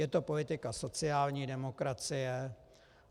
Je to politika sociální demokracie.